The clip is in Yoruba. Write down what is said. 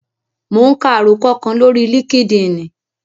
Mò ún ka àròkọ kan lórí líkídíìnì